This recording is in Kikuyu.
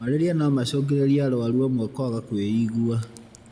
Malaria no macungĩrĩrie arwaru amwe kwaga kwĩigua.